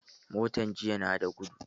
Motan jiya nan na da gudu